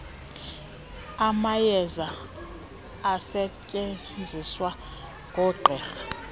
amayeza asetyenziswa ngoogqirha